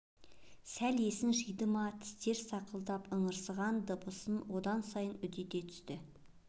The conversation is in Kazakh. сәл есін жиды ма тістер сақылдап ыңырсыған дыбысын онан сайын үдете түсті